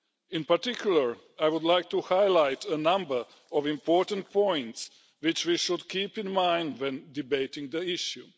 In particular, I would like to highlight a number of important points which we should keep in mind when debating the issue.